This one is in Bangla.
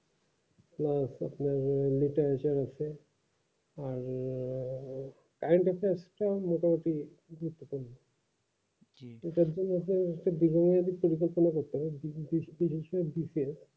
আছে আর মোটামুটি এক একজন আছে খুব